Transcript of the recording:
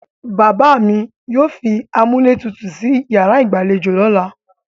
Bàbá mi yóò fi amúlétutù sí yàrá ìgbàlejò lọ́la.